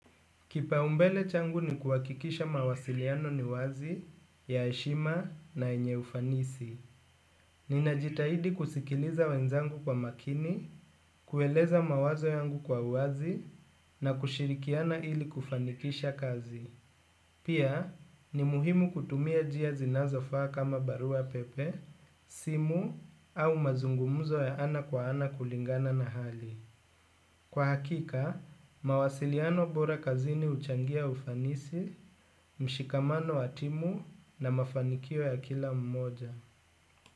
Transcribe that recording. Kipaumbele changu ni kuhakikisha mawasiliano ni wazi, ya heshima na yenye ufanisi. Ninajitahidi kusikiliza wenzangu kwa makini, kueleza mawazo yangu kwa uwazi na kushirikiana ili kufanikisha kazi. Pia, ni muhimu kutumia njia zinazofaa kama barua pepe, simu au mazungumzo ya ana kwa ana kulingana na hali. Kwa hakika, mawasiliano bora kazini huchangia ufanisi, mshikamano wa timu na mafanikio ya kila mmoja.